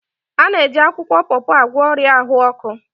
A na-eji akwukwo pawpaw agwọ ọrịa ahụ ọkụ.